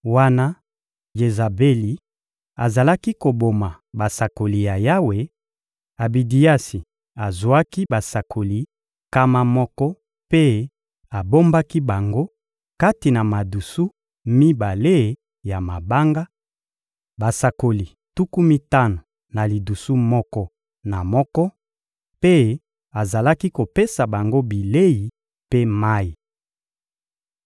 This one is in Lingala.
Wana Jezabeli azalaki koboma basakoli ya Yawe, Abidiasi azwaki basakoli nkama moko mpe abombaki bango kati na madusu mibale ya mabanga: basakoli tuku mitano na lidusu moko na moko, mpe azalaki kopesa bango bilei mpe mayi.